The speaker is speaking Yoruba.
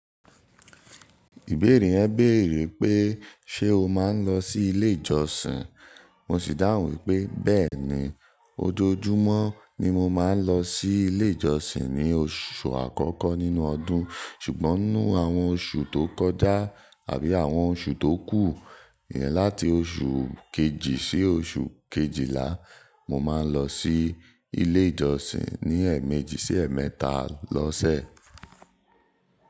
Ìbéèrè yẹn béèrè pé ṣe o máa ń lọ sí ilé ìjọsìn. Mo sì dáhùn wípé bẹ́ẹ̀ni, ojoojúmọ́ ni mo máa ń lọ sí ilé ìjọsìn ní oṣù àkọ́kọ́ nínú ọdún. Ṣùgbọ́n nínú àwọn oṣù tó kọjá àbí àwọn oṣù tó kù, ìyẹn láti oṣù kejì sí oṣù kejìlá, mo máa ń lọ sí ilé ìjọsìn ní ẹ̀ẹ̀mẹ́jì sí ẹ̀ẹ̀mẹ́ta lọ́sẹ̀.